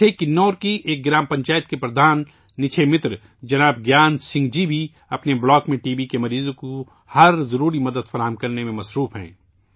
ایسے ہی کنور کی ایک گرام پنچایت کے پردھان نکشے متر جناب گیان سنگھ جی بھی اپنے بلاک میں ٹی بی مریضوں کو ہر ضروری مدد فراہم کرانے میں مصروف ہیں